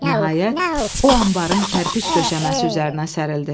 Nəhayət, o anbarın kərpic döşəməsi üzərinə sərildi.